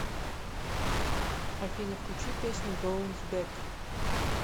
афина включи песню боунс бэк